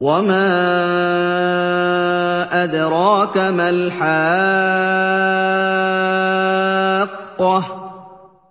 وَمَا أَدْرَاكَ مَا الْحَاقَّةُ